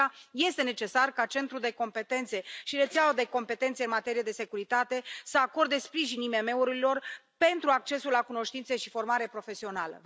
De aceea, este necesar ca Centrul de competențe și Rețeaua de competențe în materie de securitate să acorde sprijin IMM urilor pentru accesul la cunoștințe și formare profesională.